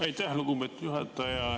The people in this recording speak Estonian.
Aitäh, lugupeetud juhataja!